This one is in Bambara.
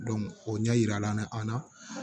o ɲɛ yira la na an na